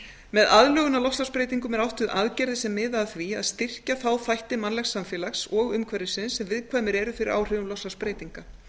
með aðlögun að loftslagsbreytingum er átt við aðgerðir sem miða að því að styrkja þá þætti mannlegs samfélags og umhverfisins sem viðkvæmir eru fyrir áhrifum loftslagsbreytinga